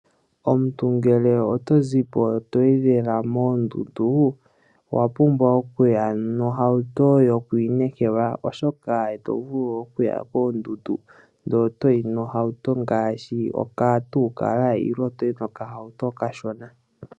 Omuntu ngele oto zipo toyi lela moondundu, owa pumbwa okuya nohauto yoku inekela, oshoka ito vulu okuya moondundu ndele otoyi nohauto ngaashi okatuukala nenge toyi nokahauto okashona.